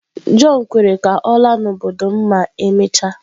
John kwere ka ọ laa n'obodo m ma emechaa.